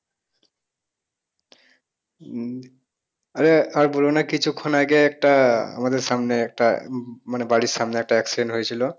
উম আরে আর বলো না কিছুক্ষন আগে একটা আমাদের সামনে একটা মানে বাড়ির সামনে একটা accident হয়েছিল।